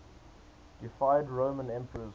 deified roman emperors